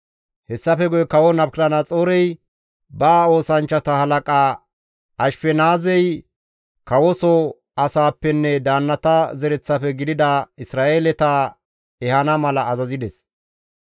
Hessafe guye kawo Nabukadanaxoorey ba oosanchchata halaqa Ashifenaazey kawoso asaappenne daannata zereththafe gidida Isra7eeleta ehana mala azazides.